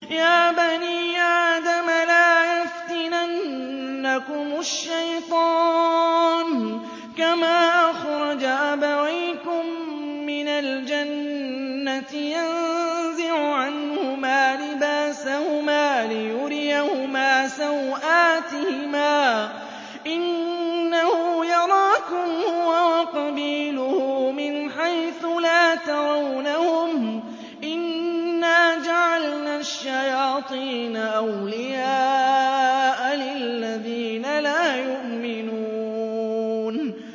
يَا بَنِي آدَمَ لَا يَفْتِنَنَّكُمُ الشَّيْطَانُ كَمَا أَخْرَجَ أَبَوَيْكُم مِّنَ الْجَنَّةِ يَنزِعُ عَنْهُمَا لِبَاسَهُمَا لِيُرِيَهُمَا سَوْآتِهِمَا ۗ إِنَّهُ يَرَاكُمْ هُوَ وَقَبِيلُهُ مِنْ حَيْثُ لَا تَرَوْنَهُمْ ۗ إِنَّا جَعَلْنَا الشَّيَاطِينَ أَوْلِيَاءَ لِلَّذِينَ لَا يُؤْمِنُونَ